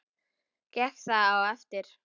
Gekk það og eftir.